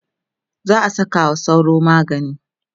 za'a Saka wa sauro magani